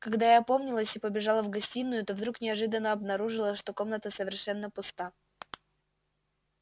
когда я опомнилась и побежала в гостиную то вдруг неожиданно обнаружила что комната совершенно пуста